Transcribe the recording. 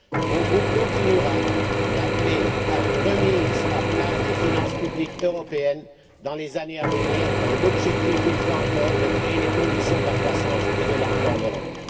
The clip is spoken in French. Mon groupe continuera d'appeler à une remise à plat des finances publiques européennes dans les années à venir, dans le but, une fois encore, de créer les conditions de la croissance et de l'emploi en Europe.